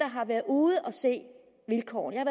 har været ude at se vilkårene jeg